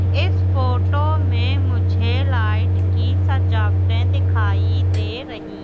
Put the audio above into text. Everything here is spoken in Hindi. इस फोटो में मुझे लाइट की सजावटे दिखाई दे रही--